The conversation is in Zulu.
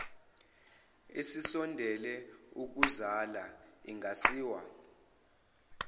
esisondele ukuzala ingasiwa